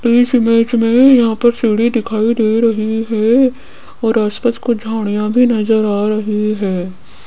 इस इमेज में यहां पर सीढ़ी दिखाई दे रही है और आस पास कुछ झाड़ियां भी नजर आ रही है।